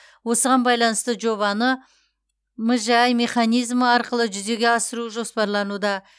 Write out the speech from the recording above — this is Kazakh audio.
осыған байланысты жобаны мжә механизмі арқылы жүзеге асыру жоспарлануда